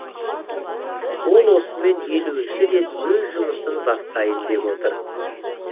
ол осымен елуінші рет өз жұмысын бастайын деп отыр